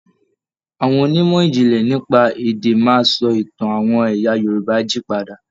Àwọn onímọ̀ ìjìnlè nípa èdè máa sọ Ìtàn àwọn ẹyà Yorùbá jí padà.